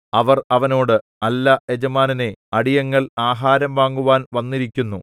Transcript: അവർ അവനോട് അല്ല യജമാനനേ അടിയങ്ങൾ ആഹാരം വാങ്ങുവാൻ വന്നിരിക്കുന്നു